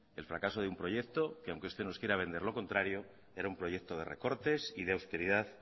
el fracaso de un proyecto que aunque usted nos quiera vender lo contrario era un proyecto de recortes y de austeridad